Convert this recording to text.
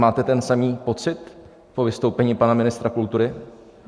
Máte ten samý pocit po vystoupení pana ministra kultury?